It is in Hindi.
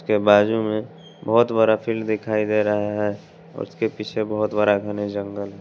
के बाजू में बहोत बड़ा फील्ड दिखाई दे रहा है उसके पीछे बहोत बड़ा घने जंगल--